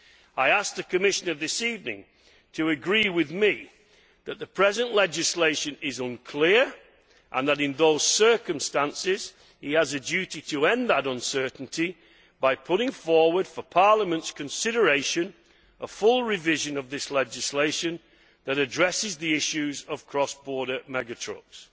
I ask the Commissioner this evening to agree with me that the present legislation is unclear and that in those circumstances he has a duty to end that uncertainty by putting forward for Parliament's consideration, a full revision of this legislation which addresses the issues of cross border mega trucks.